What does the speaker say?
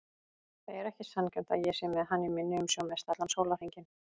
Það er ekki sanngjarnt að ég sé með hann í minni umsjá mestallan sólarhringinn.